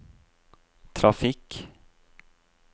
trafikk